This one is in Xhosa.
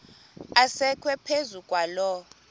asekwe phezu kwaloo